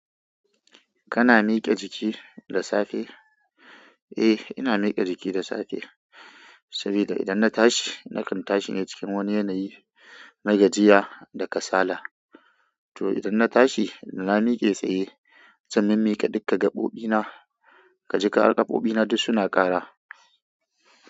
Kana miƙe jiki da safe? Eh ina miƙe jiki da safe, sabida idan na tashi nakan tashi ne cikin wani yanayi na gajiya da kasala. To idan na tashi na miƙe tsaye, zan mimmiƙe dukka gaɓoɓi na, kaji ƙarar gaɓoɓi na duk suna ƙara.